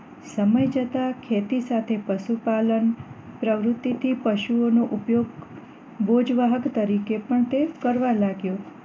સમય જતા ખેતી સાથે પશુ પાલન પ્રવૃત્તિ થી પશુઓ નો ઉપયોગ બોજવાહક તરીકે પણ કરવાં લાગ્યો